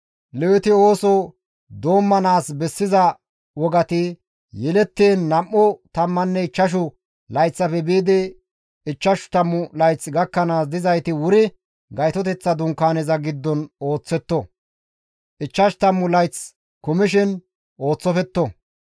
«Leweti ooso doommanaas bessiza wogati yelettiin nam7u tammanne ichchashu layththafe biidi ichchashu tammu layth gakkanaas dizayti wuri Gaytoteththa Dunkaaneza giddon ooththetto; ichchash tammu layth kumishin ooththofetto.